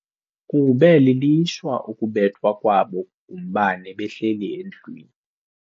Kube lilishwa ukubethwa kwabo ngumbane behleli endlwini.